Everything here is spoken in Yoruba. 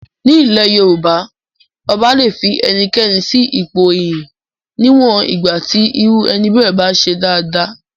Nílẹ̀ Yorùbá ọba le fi ẹnikẹ́ni sí ipò iyì níwọ̀n ìgbà tí irú ẹni bẹ́ẹ̀ bá ń ṣe dáadáa.